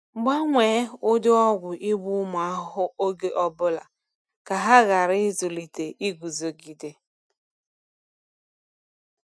Gbanwee ụdị ọgwụ igbu ụmụ ahụhụ oge ọ bụla ka ha ghara ịzụlite iguzogide.